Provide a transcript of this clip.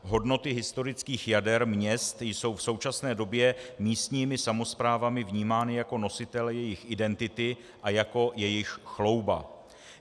Hodnoty historických jader měst jsou v současné době místními samosprávami vnímány jako nositelé jejich identity a jako jejich chlouba.